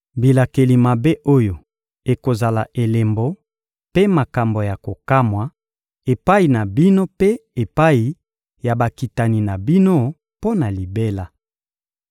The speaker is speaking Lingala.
Bilakeli mabe oyo ekozala elembo mpe makambo ya kokamwa epai na bino mpe epai ya bakitani na bino mpo na libela.